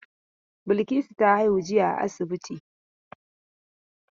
Balkisu ta haihu jiya a asibiti.